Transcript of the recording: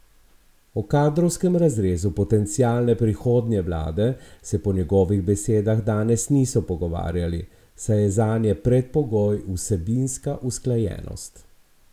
O kadrovskem razrezu potencialne prihodnje vlade se po njegovih besedah danes niso pogovarjali, saj je zanje predpogoj vsebinska usklajenost.